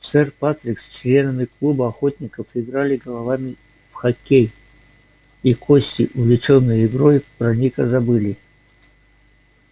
сэр патрик с членами клуба охотников играли головами в хоккей и гости увлечённые игрой про ника забыли